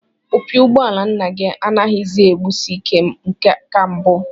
Opi ụgbọala nna gị anaghịzi egbusi ike ka mbụ